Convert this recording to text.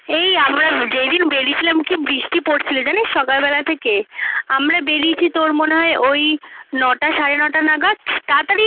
এই আমরা যেদিন বেরিয়েছিলাম কী বৃষ্টি পড়ছিল জানিস সকালবেলা থেকে আমরা বেরিয়েছি তোর মনে হয় ওই নটা সাড়ে নটা নাগাদ তাতাড়ি